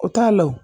O t'a la wo